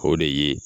O de ye